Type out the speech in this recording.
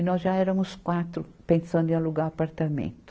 E nós já éramos quatro pensando em alugar apartamento.